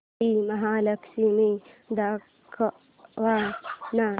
श्री महालक्ष्मी दाखव ना